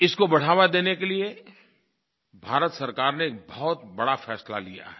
इसको बढ़ावा देने के लिये भारत सरकार ने एक बहुत बड़ा फैसला लिया है